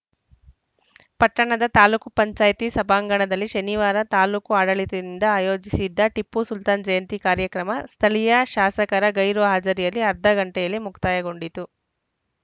ಪಟ್ಟಣದ ತಾಲೂಕು ಪಂಚಾಯ್ತಿ ಸಭಾಂಗಣದಲ್ಲಿ ಶನಿವಾರ ತಾಲೂಕು ಆಡಳಿತದಿಂದ ಆಯೋಜಿಸಿದ್ದ ಟಿಪ್ಪುಸುಲ್ತಾನ್‌ ಜಯಂತಿ ಕಾರ್ಯಕ್ರಮ ಸ್ಥಳೀಯ ಶಾಸಕರ ಗೈರು ಹಾಜರಿಯಲ್ಲಿ ಅರ್ಧ ಗಂಟೆಯಲ್ಲೇ ಮುಕ್ತಾಯಗೊಂಡಿತು